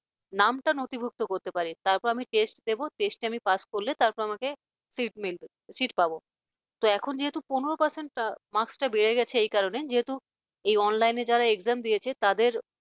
নামটা নথিভুক্ত করতে পারি তারপর test দেব test আমি pass করলে তারপর আমাকে seat মিলবে seat পাব তো এখন যেহেতু পনেরো percent marks টা বেড়ে গেছে এই কারণে যেহেতু এই online যারা exam দিয়েছে তাদের